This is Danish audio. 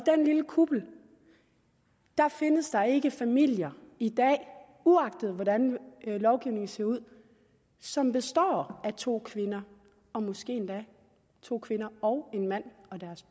lille kuppel findes der ikke familier i dag uagtet hvordan lovgivningen ser ud som består af to kvinder og måske endda af to kvinder og en mand